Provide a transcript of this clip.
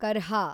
ಕರ್ಹಾ